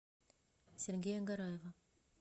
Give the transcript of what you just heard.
сергея гараева